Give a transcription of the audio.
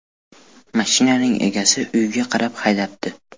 Mashinaning egasi uyiga qarab haydabdi.